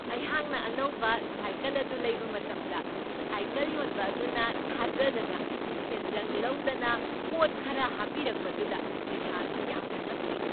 ꯑꯩꯍꯥꯛꯅ ꯑꯅꯧꯕ ꯁꯥꯏꯀꯜ ꯑꯗꯨ ꯂꯩꯕ ꯃꯇꯝꯗ ꯁꯥꯏꯀꯜ ꯌꯣꯟꯕ ꯑꯗꯨꯅ ꯊꯥꯖꯗꯅ ꯁꯦꯟꯖꯪ ꯂꯧꯗꯅ ꯄꯣꯠ ꯈꯔ ꯍꯥꯞꯄꯤꯔꯛꯄꯗꯨꯗ ꯑꯩꯍꯥꯛ ꯌꯥꯝꯅ ꯉꯛꯈꯤ ꯫